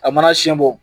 A mana siɲɛ bɔ